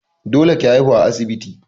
Dole ki haihu a asibiti!